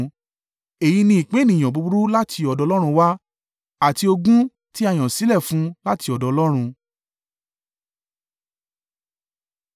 Èyí ni ìpín ènìyàn búburú láti ọ̀dọ̀ Ọlọ́run wá, àti ogún tí a yàn sílẹ̀ fún un láti ọ̀dọ̀ Ọlọ́run.”